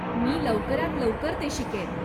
मी लवकरात लवकर ते शिकेन.